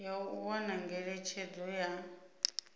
ya u wana ngeletshedzo ya